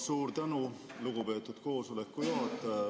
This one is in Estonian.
Suur tänu, lugupeetud koosoleku juhataja!